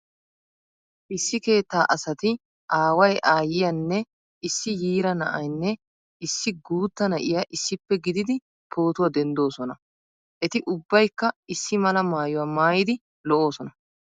Issi keettaa asati aaway aayyiyanne issi yiira na'aynne issi guutta na'iya issippe gididi pootuwa denddoosona. Eti ubbaykka issi mala maayuwa maayidi lo'oosona.